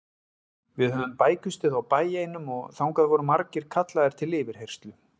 Við höfðum bækistöð á bæ einum og þangað voru margir kallaðir til yfirheyrslu.